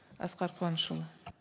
асқар қуанышұлы